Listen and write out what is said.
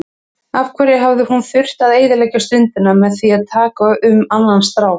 Af hverju hafði hún þurft að eyðileggja stundina með því að tala um annan strák.